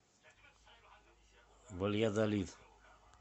вальядолид